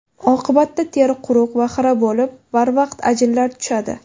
Oqibatda teri quruq va xira bo‘lib, barvaqt ajinlar tushadi.